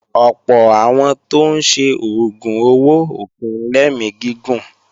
Ọ̀pọ̀ àwọn tó ń ṣe oògùn owó ò kí ń lẹ́mí gígùn